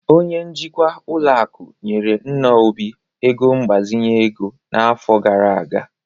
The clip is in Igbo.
Onye njikwa ụlọ akụ nyere nna Obi ego mgbazinye ego n'afọ gara aga